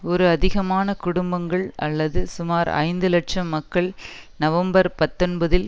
ஒரு அதிகமான குடும்பங்கள் அல்லது சுமார் ஐந்து இலட்சம் மக்கள் நவம்பர் பத்தொன்பதில்